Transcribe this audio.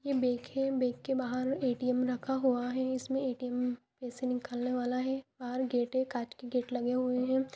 ये बैंक है बैंक के बाहर ए.टी.एम. रखा हुआ है इसमें ए.टी.एम. पैसे निकालने वाला है बाहर गेटे कांच की गेट लगे हुए है।